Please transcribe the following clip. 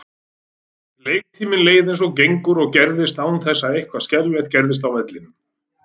Leiktíminn leið eins og gengur og gerist án þess að eitthvað skriflegt gerðist á vellinum.